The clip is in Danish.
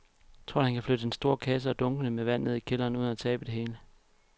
Tror du, at han kan flytte den store kasse og dunkene med vand ned i kælderen uden at tabe det hele?